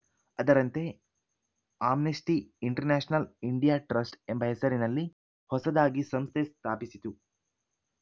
ಅದರಂತೆ Amnesty International India Trust ಎಂಬ ಹೆಸರಿನಲ್ಲಿ ಹೊಸದಾಗಿ ಸಂಸ್ಥೆ ಸ್ಥಾಪಿಸಿತು